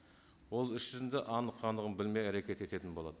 ол іс жүзінде анық қанығын білмей әрекет ететін болады